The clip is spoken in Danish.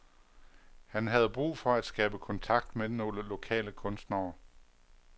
Han havde brug for at skabe kontakt med nogle lokale kunstnere.